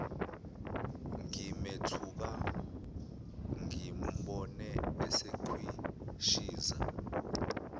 ngimethuka ngimbone esekhwishiza